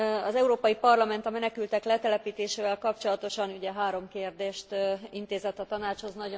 Az Európai Parlament a menekültek letelepítésével kapcsolatosan ugye három kérdést intézett a Tanácshoz.